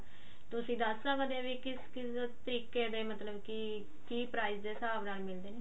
ਤੁਸੀਂ ਦੱਸ ਸਕਦੇ ਹੋ ਵੀ ਕਿਸ ਕਿਸ ਤਰੀਕੇ ਦੇ ਮਤਲਬ ਕੀ ਕੀ price ਦੇ ਹਿਸਾਬ ਨਾਲ ਮਿਲਦੇ ਨੇ